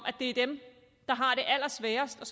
at det er dem der har det allersværest